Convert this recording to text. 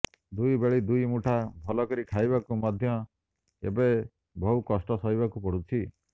ଦୁଇ ବେଳି ଦୁଇ ମୁଠା ଭଲକରି ଖାଇବାକୁ ମଧ୍ୟ ଏବେ ବହୁ କଷ୍ଠ ସହିବାକୁ ପଡ଼ୁଛି